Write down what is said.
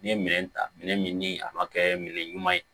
N'i ye minɛn ta minɛn min ni a ma kɛ minɛn ɲuman ye